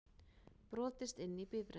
Brotist inn í bifreið